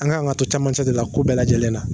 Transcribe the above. An kan ka to caman cɛ de la ko bɛɛ lajɛlen na!